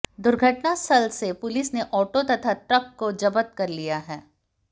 दुर्घटना स्थल से पुलिस ने ऑटो तथा ट्रक को जब्त कर लिया है